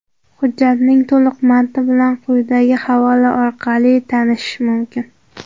Hujjatning to‘liq matni bilan quyidagi havola orqali tanishish mumkin.